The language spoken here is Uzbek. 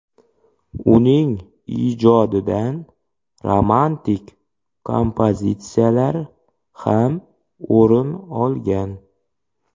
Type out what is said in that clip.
Uning ijodidan romantik kompozitsiyalar ham o‘rin olgan.